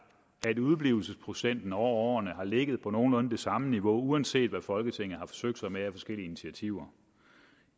at udeblivelsesprocenten over årene har ligget på nogenlunde det samme niveau uanset hvad folketinget har forsøgt sig med af forskellige initiativer